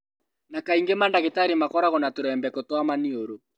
Na kaingĩ ona mandagĩtarĩ makoragwo na tũrembeko twa maniũrũ